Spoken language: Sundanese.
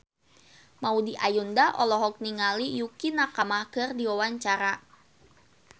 Maudy Ayunda olohok ningali Yukie Nakama keur diwawancara